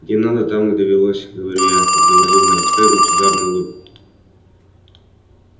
где надо там и довелось говорю я изобразив на лице лучезарную улыбку